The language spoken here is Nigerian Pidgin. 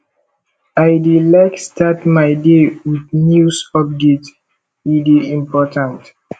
i dey like start my day with news updates e dey important